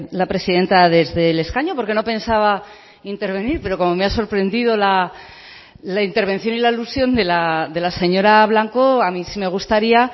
la presidenta desde el escaño porque no pensaba intervenir pero como me ha sorprendido la intervención y la alusión de la señora blanco a mí sí me gustaría